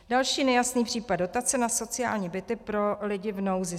Další nejasný případ dotace na sociální byty pro lidi v nouzi.